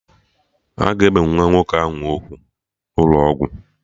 Aga ebe nwa nwoke ahụ ugwu n'ụlọ ọgwụ?